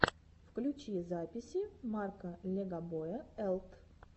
включи записи марка легобоя элт